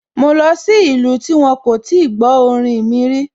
Mo lọ sí ìlú tí wón kò tí gbó orin mi rí